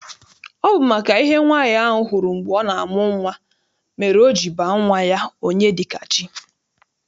Ọ bụ maka ihe nwaanyị ahụ hụrụ mgbe ọ na-amụ nwa mere o ji baa nwa ya Onyedikachi.